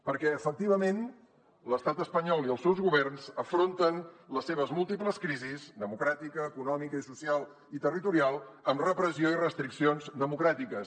perquè efectivament l’estat espanyol i els seus governs afronten les seves múltiples crisis democràtica econòmica social i territorial amb repressió i restriccions democràtiques